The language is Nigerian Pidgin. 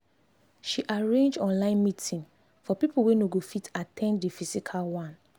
she arrange online meeting for people wey no go fit at ten d the physical one